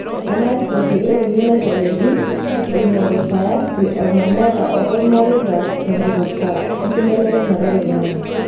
Ena ripoti euni naitayioki eingori sayansi, olmanyara o olmareita tenkipirta enkibelekenyata oloing'ang'e.